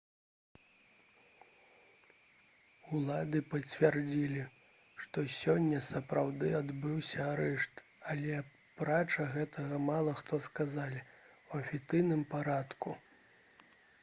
улады пацвердзілі што сёння сапраўды адбыўся арышт але апрача гэтага мала што сказалі ў афіцыйным парадку